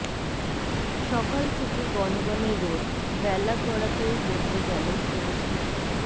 সকাল থেকে গণগণে রোদ বেলা গড়াতেও বদলে গেল পরিস্থিতি